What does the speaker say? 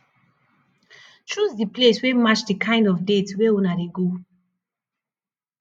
choose di place wey match di kind of date wey una dey go